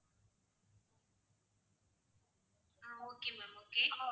ah okay ma'am okay